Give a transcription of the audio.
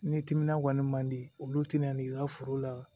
Ni timinan kɔni man di olu tɛna n'i ka foro la